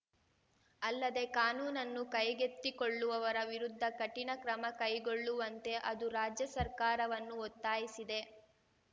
ಅಲ್ಲದೆ ಕಾನೂನುನ್ನು ಕೈಗೆತ್ತಿಕೊಳ್ಳುವವರ ವಿರುದ್ಧ ಕಠಿಣ ಕ್ರಮ ಕೈಗೊಳ್ಳುವಂತೆ ಅದು ರಾಜ್ಯ ಸರ್ಕಾರವನ್ನು ಒತ್ತಾಯಿಸಿದೆ